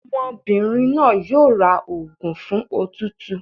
Ọmọbìnrin náà yóò ra òògùn fún òtútù.